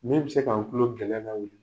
Min bɛ se k'an kulo gɛlɛya ka